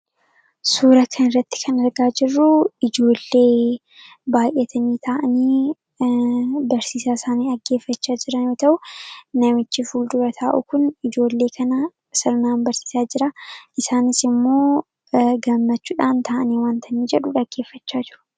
Suura kan irratti kan argaa jirruu ijoollee baay'atanii ta'anii barsiisaa isaanii dhaggeeffachaa jiran yoo ta'u namichi fuldura taa'uu kun ijoollee kana sarnaan barsiisaa jira. isaanis immoo gammachuudhaan ta'anii wantanii jedhu dhaggeeffachaa jiru.